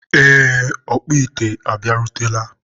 ee, ọkpụ ite a bịarutela.